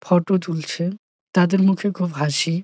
Photo তুলছে তাদের মুখে খুব হাসি ।